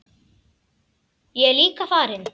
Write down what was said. Ég er líka farinn!